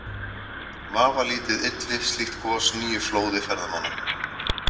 Vafalítið ylli slíkt gos nýju flóði ferðamanna.